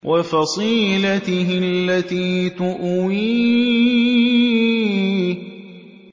وَفَصِيلَتِهِ الَّتِي تُؤْوِيهِ